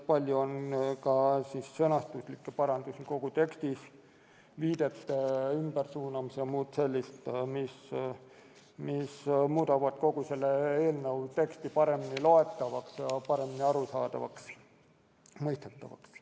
Palju on ka sõnastuslikke parandusi kogu tekstis, viidete ümbersuunamisi ja muud sellist, mis muudab eelnõu teksti paremini loetavaks ja mõistetavaks.